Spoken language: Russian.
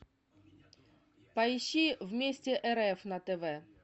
поищи вместе рф на тв